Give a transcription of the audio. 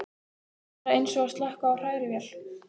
Bara eins og að slökkva á hrærivél.